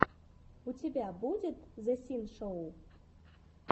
у тебя будет зэ синшоу